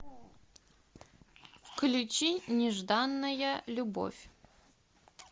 включи нежданная любовь